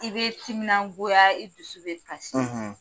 I be timinagoya, i dusu bɛ kasi.